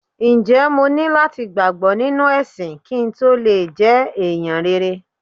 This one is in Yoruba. Ǹjẹ́ mo ní láti gbàgbọ́ nínú ẹ̀sìn kí n tó le jẹ́ ẹ̀yàn rere?